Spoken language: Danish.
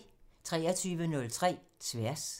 23:03: Tværs